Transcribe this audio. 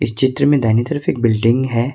चित्र में दाहिनी तरफ एक बिल्डिंग है।